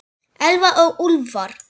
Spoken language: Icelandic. Elfa og Úlfar.